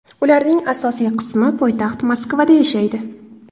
Ularning asosiy qismi poytaxt Moskvada yashaydi.